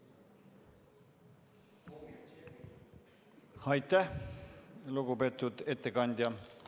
Aitäh, lugupeetud ettekandja!